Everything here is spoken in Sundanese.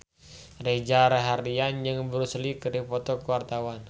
Reza Rahardian jeung Bruce Lee keur dipoto ku wartawan